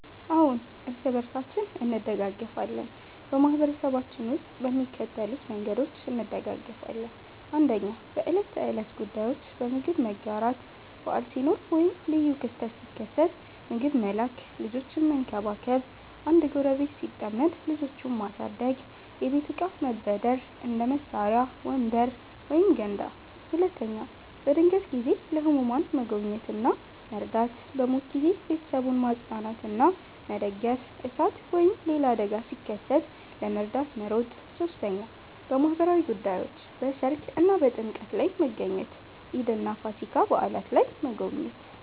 አዎን፣ እርስ በርሳችን እንደጋገፋለን በማህበረሰባችን ውስጥ በሚከተሉት መንገዶች እንደጋገፋለን፦ 1. በዕለት ተዕለት ጉዳዮች · በምግብ መጋራት – በዓል ሲኖር ወይም ልዩ ክስተት ሲከሰት ምግብ መላክ · ልጆችን መንከባከብ – አንድ ጎረቤት ሲጠመድ ልጆቹን ማሳደግ · የቤት እቃ መበደር – እንደ መሳሪያ፣ ወንበር ወይም ገንዳ 2. በድንገተኛ ጊዜ · ለህሙማን መጎብኘት እና መርዳት · በሞት ጊዜ ቤተሰቡን ማጽናናትና መደገፍ · እሳት ወይም ሌላ አደጋ ሲከሰት ለመርዳት መሮጥ 3. በማህበራዊ ጉዳዮች · በሠርግ እና በጥምቀት ላይ መገኘት · ኢድ እና ፋሲካ በዓላት ላይ መጎብኘት